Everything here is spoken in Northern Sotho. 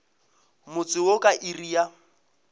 motse wo ka iri ya